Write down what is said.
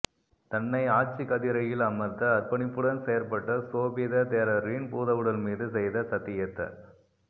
தன்னை ஆட்சிக்கதிரையில் அமர்த்த அர்ப்பணிப்புடன் செயற்பட்ட சோபித தேரரின் பூதவுடல் மீது செய்த சத்தியத்த